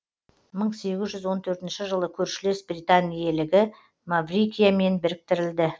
мың сегіз жүз он төртінші жылы көршілес британ иелігі маврикиямен біріктірілді